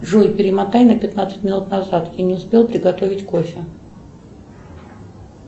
джой перемотай на пятнадцать минут назад я не успела приготовить кофе